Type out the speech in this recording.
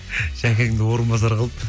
жәкеңді орынбасар қылып